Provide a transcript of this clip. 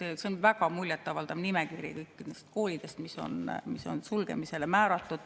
See on väga muljetavaldav nimekiri kõikidest koolidest, mis on sulgemisele määratud.